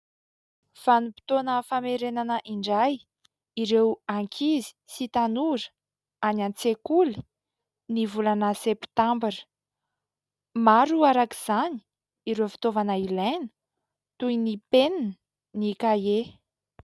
Vanim-potoana famerenana indray ireo ankizy sy tanora any an-tsekoly ny volana septambra. Maro araka izany ireo fitaovana ilaina toy ny penina ny kahie.